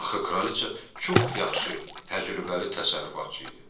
Axı kraliça çox yaxşı, təcrübəli təsərrüfatçı idi.